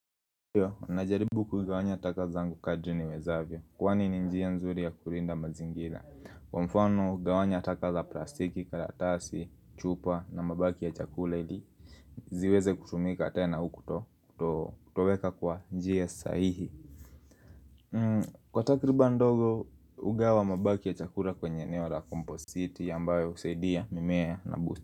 Ninajaribu kugawanya taka zangu kadri niwezavyo, kwani ni njia nzuri ya kulinda mazingira Kwa mfano, gawanya taka za plastiki, karatasi, chupa na mabaki ya chakula ili ziweze kutumika tena, kutoweka kwa njia sahihi Kwa takribani ndogo, ugawa wa mabaki ya chakula kwenye eneo la kompositi ambayo husaidia mimea na bustani.